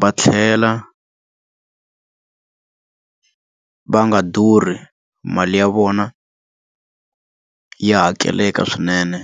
va tlhela va nga durhi mali ya vona ya hakeleke swinene.